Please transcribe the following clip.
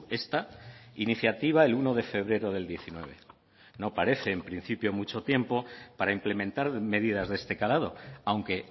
esta iniciativa el uno de febrero del diecinueve no parece en principio mucho tiempo para implementar medidas de este calado aunque